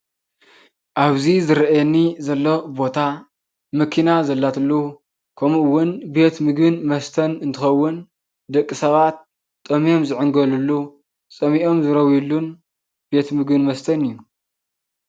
አብዚ ዝረእየኒ ዘሎ ቦታ መኪና ዘላትሉ ከምኡ እውን ቤት ምግብን መስተን እንትከውን ደቂ ሰባት ጠምዮም ዝዕንገሉሉ ፀሚኦም ዝረዊሉን ቤት ምግብን መስተን እዩ፡፡